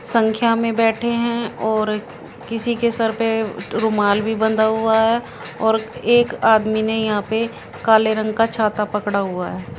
संख्या में बैठे हैं और किसी के सर पे रूमाल भी बंधा हुआ है और एक आदमी ने यहां पे काले रंग का छाता पकड़ा हुआ है।